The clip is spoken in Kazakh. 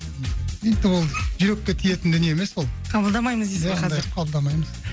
енді ол жүрекке тиетін дүние емес ол қабылдамаймыз дейсіз ғой қазір иә ондайды қабылдамаймыз